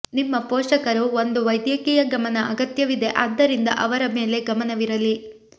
ನಿಮ್ಮ ಪೋಷಕರು ಒಂದು ವೈದ್ಯಕೀಯ ಗಮನ ಅಗತ್ಯವಿದೆ ಆದ್ದರಿಂದ ಅವರ ಮೇಲೆ ಗಮನವಿರಲಿ